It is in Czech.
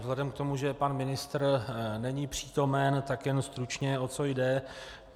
Vzhledem k tomu, že pan ministr není přítomen, tak jen stručně, o co jde.